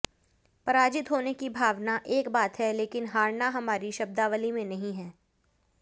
पराजित होने की भावना एक बात है लेकिन हारना हमारी शब्दावली में नहीं है